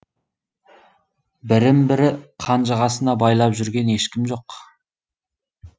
бірін бірі қанжығасына байлап жүрген ешкім жоқ